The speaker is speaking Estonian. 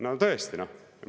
No tõesti, noh!